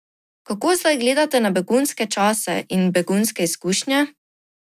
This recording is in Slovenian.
Kako zdaj gledate na begunske čase in begunske izkušnje?